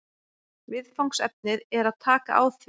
Viðfangsefnið er að taka á því